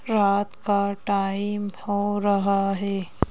रात का टाइम हो रहा है।